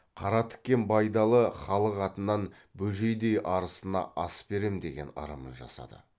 қара тіккен байдалы халық атынан бөжейдей арысына ас берем деген ырымы жасады